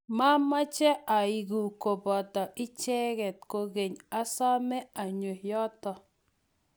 mamache aeku koboto icheke kokeny asome anyo yoto